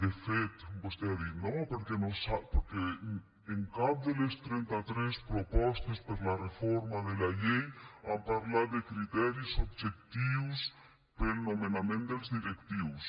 de fet vostè ha dit no perquè en cap de les trenta tres propostes per la reforma de la llei han parlat de criteris objectius per al nomenament dels directius